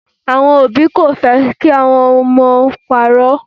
Àwọn òbí kò fẹ́ kí ọmọ wọn máa parọ́.